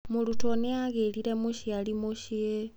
Mũrutwo nĩ agĩrire mũciari mũciĩ.